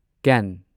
ꯀꯦꯟ